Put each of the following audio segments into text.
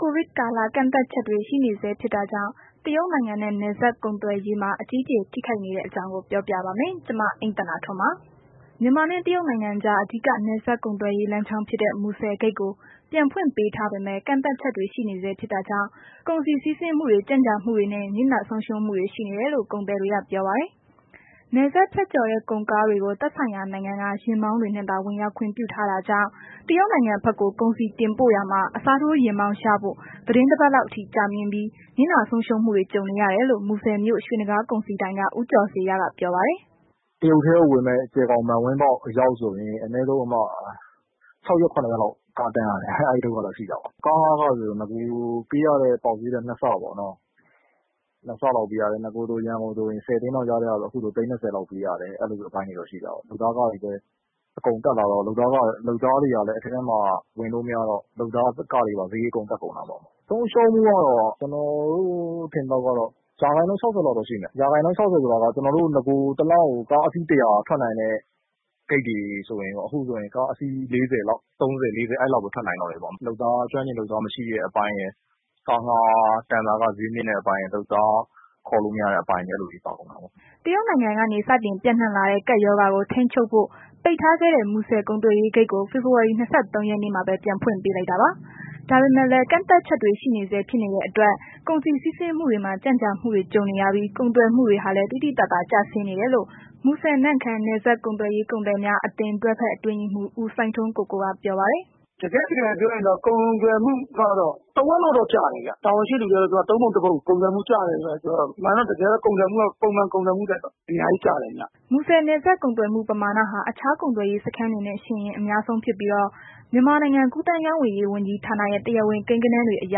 ကိုဗစ်ကာလ ကန့်သတ်ချက်တွေ ရှိနေဆဲဖြစ်တာကြောင့် တရုတ်နိုင်ငံနဲ့ နယ်စပ်ကုပ်သွယ်ရေးမှာ အကြီးအကျယ် ထိခိုက်နေတဲ့အကြောင်း ပြောပြပါမယ်။ ဗွီအိုအေမြန်မာပိုင်း သတင်းထောက် မအိမ့်သန္တာထွန်းက တင်ပြပေးထားပါတယ်။ မြန်မာနဲ့ တရုတ်နိုင်ငံကြား အဓိက နယ်စပ်ကုန်သွယ်ရေး လမ်းကြောင်းဖြစ်တဲ့ မူဆယ်ဂိတ်ကို ပြန်ဖွင့်ပေးထားပေမဲ့ ကန့်သတ်ချက်တွေ ရှိနေဆဲ ဖြစ်တာကြောင့် ကုန်စည်စီးဆင်းမှုတွေ ကြန့်ကြာမှုတွေနဲ့ နစ်နာဆုံးရှုံးမှုတွေ ရှိနေတယ်လို့ ကုန်သည်တွေက ပြောပါတယ်။ နယ်စပ်ဖြတ်ကျော်တဲ့ ကုန်ကားတွေကို သက်ဆိုင်ရာနိုင်ငံက ယာဉ်မောင်းတွေနဲ့သာ ဝင်ရောက်ခွင့် ပြုထားတာကြောင့် တရုတ်နိုင်ငံဘက်ကို ကုန်ပစ္စည်းတင်ပို့ရာမှာ အစားထိုးယာဉ်မောင်းရဖို့ သီတင်းတပတ်လောက်အထိ ကြာမြင့်တတ်ပြီး၊ နစ်နာဆုံးရှုံးမှုတွေ ကြုံနေရတယ်လို့ မူဆယ်မြို့ ရွှေနဂါးကုန်စည်ဒိုင်က ဦးကျော်ဇေယျက ပြောပါတယ်။ “တရုတ်ထဲကို ဝင်မယ့် ကြယ်ခေါင် မန်ဝင်းပေါက်အရောက်ဆိုလို့ရှိရင် အနည်းဆုံး ၆ ရက်၊ ၇ ရက်လောက် ကားရပ်ရတယ်။ အဲ့ဒုက္ခတော့ ရှိတာပေ့ါ။ ကားငှားခဆိုရင် နဂိုပေးရတဲ့ ပေါက်ဈေးထက် ၂ ဆပေါ့ပေးရတယ်။ နဂိုဆိုရင် ရန်ကုန်ကို ၁၀ သိန်းလောက်ပေးရတာကို ခုဆိုရင် သိန်း ၂၀ လောက်ပေးရတယ်။ အဲ့လိုမျိုးအပိုင်းတွေလည်း ရှိတာပေါ့။ လုပ်သားခတွေကလည်း တက်လာတယ်။ လုပ်သားတွေကလည်း အထဲထဲထိ ဝင်လို့မရတော့ လုပ်သား စရိတ်တွေကလည်း အကုန်တက်ကုန်တာပေ့ါ။ ဆုံးရှုံးမှုကတော့ ကျနော်တို့ ထင်သလောက်ကတော့ ရာခိုင်နှုန်း ၆၀ လောက်တော့ ရှိမယ်။ ရာခိုင်နှုန်း ၆၀ ဆိုတာက ကျနော်တို့ နဂို ကားအစီး ၁၀၀ ထွက်နိုင်တယ်ဆိုရင် ခုဆိုရင် ကားအစီး ၃၀၊ ၄၀ လောက်ပဲ ထွက်နိုင်တော့တယ်။ ကျွမ်းကျင်လုပ်သား မရှိတာရယ်။ တန်စာခ ဈေးမြင့်တဲ့အပိုင်းရယ်၊ လုပ်သားခေါ်လို့ မရတဲ့အပိုင်းတွေ အဲ့လိုတွေပါတာပေါ့။” တရုတ်နိုင်ငံကနေ စတင်ပျံ့နှံ့လာတဲ့ ကပ်ရောဂါကို ထိန်းချုပ်ဖို့ ပိတ်ထားခဲ့တဲ့ မူဆယ်ကုန်သွယ်ရေးဂိတ်ကိုတော့ ဖေဖော်ဝါရီ ၂၃ ရက်နေ့မှာပဲ ပြန်ဖွင့်ပေးလိုက်တာပါ။ ဒါပေမဲ့လည်း ကန့်သတ်ချက်တွေ ရှိနေဆဲဖြစ်နေတဲ့အတွက် ကုန်စည်စီးဆင်းမှုတွေမှာ ကြန့်ကြာမှုတွေ ကြုံနေရပြီး ကုန်သွယ်မှုတွေဟာလည်း သိသိသာသာ ကျဆင်းနေတယ်လို့ မူဆယ်-နမ့်ခမ်း နယ်စပ်ကုန်သွယ်ရေး ကုန်သည်များအသင်း တွဲဖက်အတွင်းရေးမှူး ဦးစိုင်းထွန်းကိုကိုက ပြောပါတယ်။ “တကယ့်တကယ်ပြောရရင်တော့ ကုန်သွယ်မှုကတော့ တစ်ဝက်လောက်တော့ ကျတယ်ဗျ၊ တာဝန်ရှိတဲ့သူတွေကတော့ ၃ ပုံ ၁ ပုံကျတယ်လို့တော့ ပြောတယ်၊ အမှန်တော့ ကုန်သွယ်မှုက ပုံမှန်ကုန်သွယ်မှုထက်တော့ အများကြီးကျတယ်ဗျ။” မူဆယ် နယ်စပ်ကုန်သွယ်မှုပမာဏဟာ အခြားကုန်သွယ်ရေးစခန်တွေနဲ့ ယှဉ်ရင် အများဆုံးဖြစ်ပြီးတော့ မြန်မာနိုင်ငံ ကူးသန်းရောင်းဝယ်ရေး ဝန်ကြီးဌာနရဲ့ တရားဝင်ကိန်းဂဏန်းတွေအရ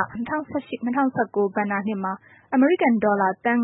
၂၀၁၈-၂၀၁၉ ဘဏ္ဍာနှစ်မှာ အမေရိကန်ဒေါ်လာ သန်